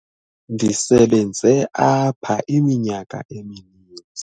ndisebenze apha iminyaka emininzi